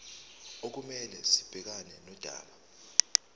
okumele sibhekane nodaba